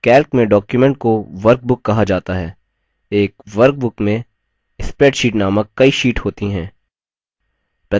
calc में document को workbook कहा जाता है एक workbook में spreadsheets नामक कई sheets होती हैं